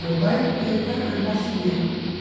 Meu pai é marceneiro.